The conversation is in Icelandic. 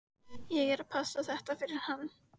Ég er að passa þetta fyrir hann.